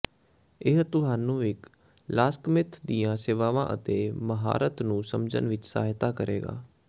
ਇਹ ਤੁਹਾਨੂੰ ਇੱਕ ਲਾਕਸਮਿੱਥ ਦੀਆਂ ਸੇਵਾਵਾਂ ਅਤੇ ਮਹਾਰਤ ਨੂੰ ਸਮਝਣ ਵਿੱਚ ਸਹਾਇਤਾ ਕਰੇਗਾ